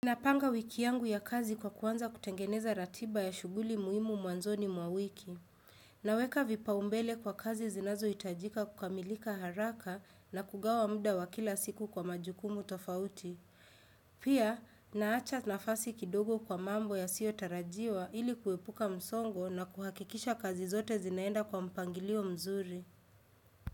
Na panga wiki yangu ya kazi kwa kuanza kutengeneza ratiba ya shughuli muhimu mwanzoni mwa wiki. Naweka vipa umbele kwa kazi zinazo itajika kukamilika haraka na kugawa mda wa kila siku kwa majukumu tofauti. Pia, naacha nafasi kidogo kwa mambo ya sio tarajiwa ili kuepuka msongo na kuhakikisha kazi zote zinaenda kwa mpangilio mzuri.